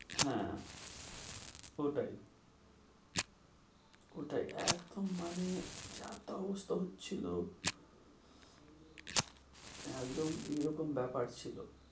হ্যাঁ, ওটাই ওটাই একদম মানে যাতা অবস্থা হচ্ছিল একদম এরকম ব্যাপার ছিল।